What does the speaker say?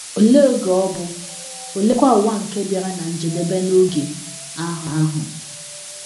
Olee oge ọ bụ, oleekwa ụwa nke bịara ná njedebe n’oge ahụ ahụ?